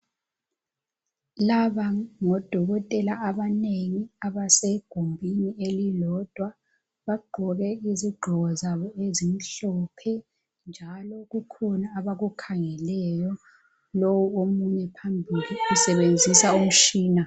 Laba ngodokotela abanengi abasegumbini elilodwa. Bagqoke izigqoko zabo ezimhlophe, njalo kukhona abakukhangeleyo. Lo omunye phambili usebenzisa umtshina.